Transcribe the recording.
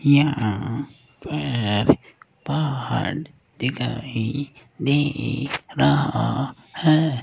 यहां पर पहाड़ दिखाई दे रहा है।